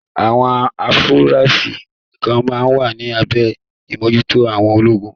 Àwọn afurasí kan máa wà ní abẹ́ ìmójúto àwọn ológun.